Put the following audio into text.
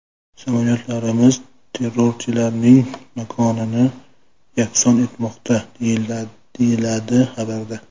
Samolyotlarimiz terrorchilarning makonini yakson etmoqda”, deyiladi xabarda.